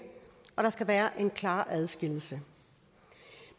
og der skal være en klar adskillelse